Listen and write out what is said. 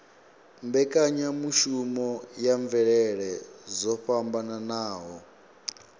mbekanyamushumo ya mvelele dzo fhambanaho